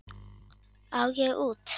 Á ég út?